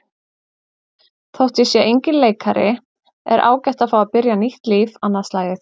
Þótt ég sé enginn leikari er ágætt að fá að byrja nýtt líf annað slagið.